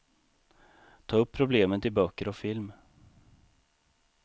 Ta upp problemet i böcker och film.